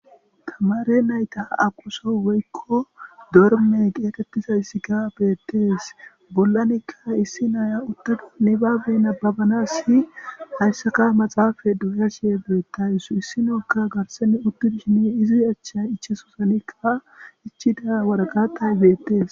tamare nayta aquso woykko dorme qietettiza issi ka beettees bollanikka issi naaya uttadi ne babena babanas si hayssaka maxaafa doya shiye beetta issu issinookka garsene uttu dishini izi achcha ichesusanikka ichida waragatay beettees